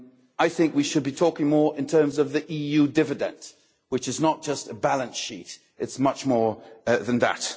I think that we should be talking more in terms of the EU dividend, which is not just a balance sheet, but much more than that.